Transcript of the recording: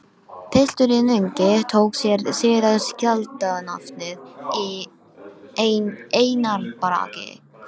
Pilturinn ungi tók sér síðar skáldanafnið Einar Bragi.